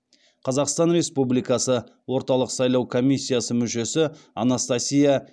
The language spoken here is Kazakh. қазақстан республикасы орталық сайлау комиссиясы мүшесі анастасия